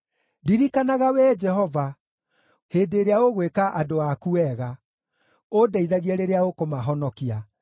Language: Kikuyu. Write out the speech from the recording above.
Ndirikanaga, Wee Jehova, hĩndĩ ĩrĩa ũgwĩka andũ aku wega, ũndeithagie rĩrĩa ũkũmahonokia,